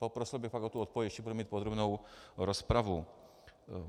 Prosil bych fakt o tu odpověď, ještě budeme mít podrobnou rozpravu.